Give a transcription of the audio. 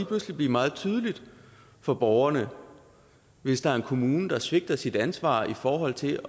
pludselig blive meget tydeligt for borgerne hvis der er en kommune der svigter sit ansvar i forhold til